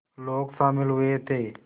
लोग शामिल हुए थे